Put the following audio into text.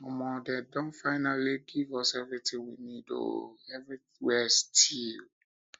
omo dem don dem don finally give us everything we need oo everywhere stew